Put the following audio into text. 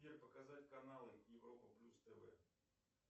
сбер показать каналы европа плюс тв